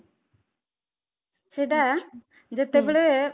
ସେଟା ହୁଁ ଯେତେ ବେଳେ